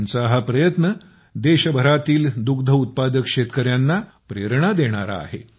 त्यांचा हा प्रयत्न देशभरातील दुग्ध उत्पादक शेतकऱ्यांना प्रेरणा देणारा आहे